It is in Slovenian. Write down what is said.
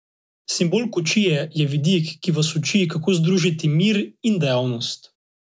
Simbol kočije je vidik, ki vas uči, kako združiti mir in dejavnost.